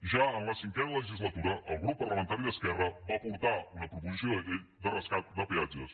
ja en la cinquena legislatura el grup parlamentari d’esquerra va portar una proposició de llei de rescat de peatges